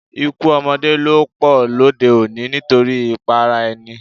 Ikú ọmọdé ló pọ lóde-òní nítorí ìpara-ẹni.